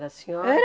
Era a senhora?